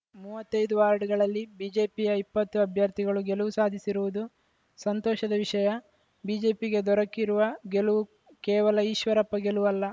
ಮೂವತ್ತೈದು ವಾರ್ಡ್‌ಗಳಲ್ಲಿ ಬಿಜೆಪಿಯ ಇಪ್ಪತ್ತು ಅಭ್ಯರ್ಥಿಗಳು ಗೆಲುವು ಸಾಧಿಸಿರುವುದು ಸಂತೋಷದ ವಿಷಯ ಬಿಜೆಪಿಗೆ ದೊರಕಿರುವ ಗೆಲುವು ಕೇವಲ ಈಶ್ವರಪ್ಪ ಗೆಲುವಲ್ಲ